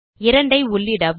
2 ஐ உள்ளிடவும்